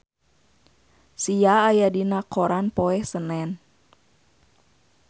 Sia aya dina koran poe Senen